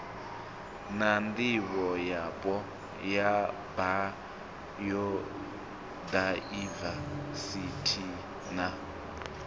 na ndivhoyapo ya bayodaivesithi na